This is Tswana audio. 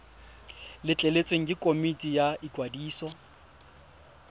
letleletswe ke komiti ya ikwadiso